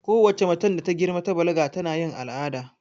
Kowace macen da ta girma ta balaga tana yin al'ada